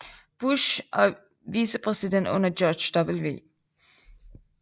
Bush og vicepræsident under George W